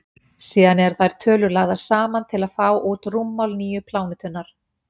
síðan eru þær tölur lagðar saman til að fá út rúmmál nýju plánetunnar